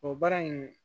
O baara in